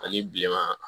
Ani bilenman